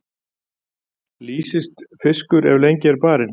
Lýist fiskur ef lengi er barinn.